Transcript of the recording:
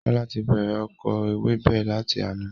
Kola ti bẹ̀rẹ̀ oko ewébẹ̀ lati àná